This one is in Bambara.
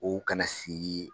O kana sigi